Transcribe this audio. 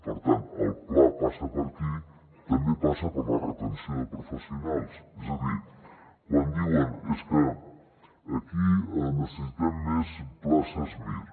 per tant el pla passa per aquí i també passa per la retenció de professionals és a dir quan diuen és que aquí necessitem més places mir